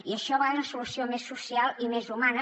i això a vegades és una solució més social i més humana